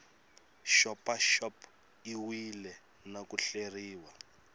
xopaxop iwile na ku hleriwa